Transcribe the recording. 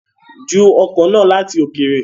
Ju ọ̀kọ̀ náà láti òkèrè